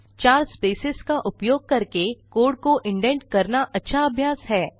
चार स्पेसेज का उपयोग करके कोड को इंडेंट करना अच्छा अभ्यास है